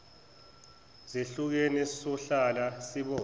zehlukene sohlala sibona